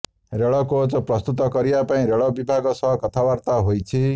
ରେଳ କୋଚ୍ ପ୍ରସ୍ତୁତ କରିବା ପାଇଁ ରେଳ ବିଭାଗ ସହ କଥାବାର୍ତ୍ତା ହୋଇଛି